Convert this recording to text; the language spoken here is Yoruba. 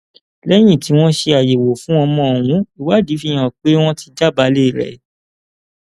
lẹyìn tí wọn ṣe àyẹwò fún ọmọ ohun ìwádìí fi hàn pé wọn ti jábàálẹ rẹ